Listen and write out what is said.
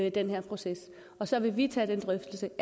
i den her proces og så vil vi tage den drøftelse